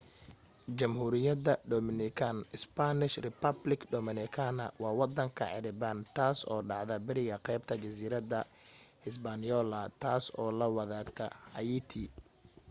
jamhuriyada dominican spanish: república dominicana waa wadanka caribbean taas oo dhacda bariga qeybta jasiirada hispaniola taas oo la wadaagta haiti